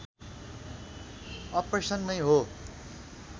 operation नै हो